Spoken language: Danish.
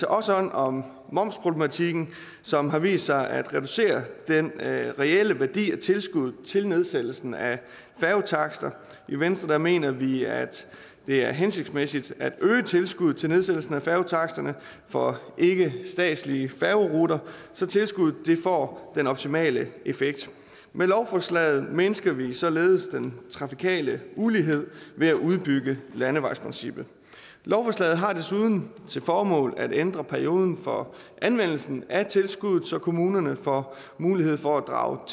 også hånd om momsproblematikken som har vist sig at reducere den reelle værdi af tilskuddet til nedsættelsen af færgetakster i venstre mener vi at det er hensigtsmæssigt at øge tilskuddet til nedsættelsen af færgetaksterne for ikkestatslige færgeruter så tilskuddet får den optimale effekt med lovforslaget mindsker vi således den trafikale ulighed ved at udbygge landevejsprincippet lovforslaget har desuden til formål at ændre perioden for anvendelsen af tilskuddet så kommunerne får mulighed for at drage